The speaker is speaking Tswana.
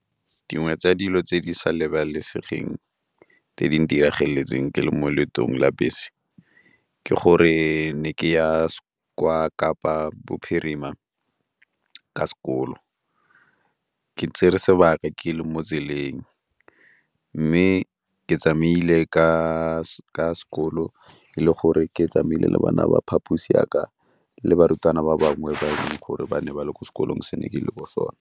Dingwe tsa dilo tse di sa lebalesegeng tse di ntiragetseng ke le mo leetong la bese ke gore ne ke ya kwa Kapa Bophirima ka sekolo. Ke tsere sebaka ke le mo tseleng, mme ke tsamaile ka sekolo e le gore ke tsamaile le bana ba phaposi ya ka le barutwana ba bangwe bangwe gore ba ne ba le ko sekolo se ne ke le ko sone.